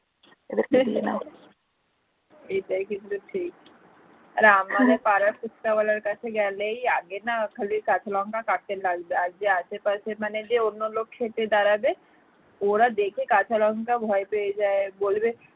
ফুচকা ওয়ালার কাছে গেলেই আগে না খালি কাঁচা লঙ্কা কাটতে লাগবে যে আশেপাশে মানে যে অন্য লোক খেতে দাঁড়াবে ওরা দেখে কাঁচা লঙ্কা ভয় পেয়ে যায় বলবে